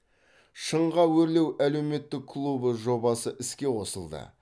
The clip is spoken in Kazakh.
шыңға өрлеу әлеуметтік клубы жобасы іске қосылды